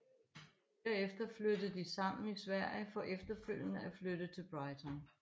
Derefter flyttede de sammen i Sverige for efterfølgende at flytte til Brighton